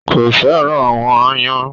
Kò fẹ́ràn àwọn aáyán.